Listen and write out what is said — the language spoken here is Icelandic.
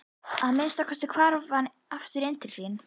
Að minnsta kosti hvarf hann aftur inn til sín.